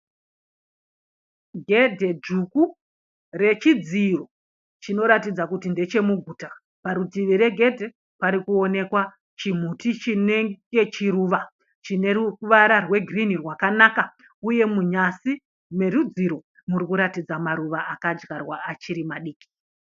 Gedhe dzvuku rechidziro chinoratidza kuti ndechemuguta. Parutivi regedhe parikuonekwa chimuti chinenge chiruvà. Chine ruvara rwegirini rwakanaka uye munyasi merudziro murikuratidza maruva akadyarwa achiri madiki.